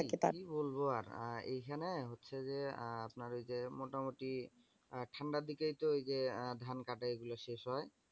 কি বলবো আর? আহ এইখানে হচ্ছে যে, আহ আপনার ওই যে মোটামোটি আহ ঠান্ডার দিকেই তো ঐযে আহ ধান কাটে এগুলো শেষ হয়?